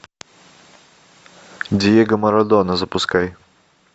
диего марадона запускай